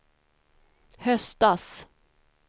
höstas